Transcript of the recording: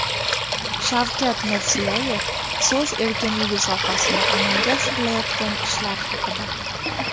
Shavkat Mirziyoyev so‘z erkinligi sohasida amalga oshirilayotgan ishlar haqida.